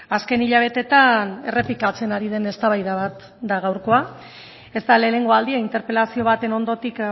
azken hilabetetan errepikatzen ari den eztabaida bat da gaurkoa ez da lehenengo aldia interpelazio baten ondotik